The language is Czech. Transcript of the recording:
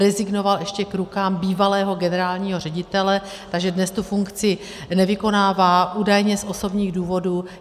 Rezignoval ještě k rukám bývalého generálního ředitele, takže dnes tu funkci nevykonává, údajně z osobních důvodů.